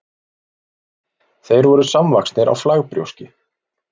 þeir voru samvaxnir á flagbrjóski